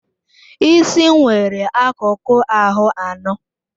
Isi nwere akụkụ ahụ anọ.